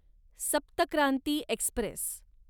सप्त क्रांती एक्स्प्रेस